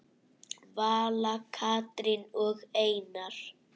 Vala, Katrín og Einar.